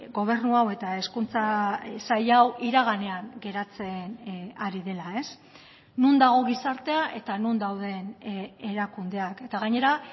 gobernu hau eta hezkuntza sail hau iraganean geratzen ari dela non dago gizartea eta non dauden erakundeak eta gainera